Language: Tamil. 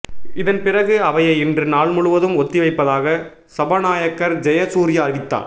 இதன் பிறகு அவையை இன்று நாள் முழுவதும் ஒத்தி வைப்பதாக சபாநாயகர் ஜெயசூர்யா அறிவித்தார்